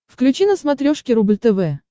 включи на смотрешке рубль тв